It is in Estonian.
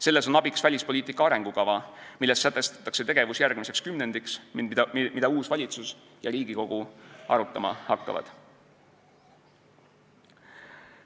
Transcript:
Selles on abiks välispoliitika arengukava, milles sätestatakse tegevus järgmiseks kümnendiks ning mida uus valitsus ja Riigikogu arutama hakkavad.